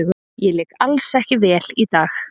Ég lék alls ekki vel í dag.